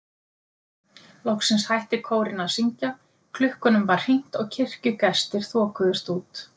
Loksins hætti kórinn að syngja, klukkunum var hringt og kirkjugestir þokuðust út.